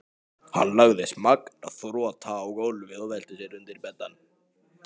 Hann lagðist magnþrota á gólfið og velti sér undir beddann.